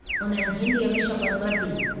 उन्हनि हिंदीअ में शपथ वरिती।